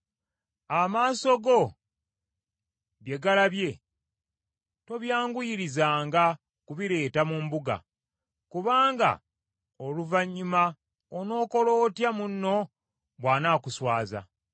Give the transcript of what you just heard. Amaaso go bye galabye tobyanguyirizanga kubireeta mu mbuga, kubanga oluvannyuma onookola otya munno bw’anaakuswaza?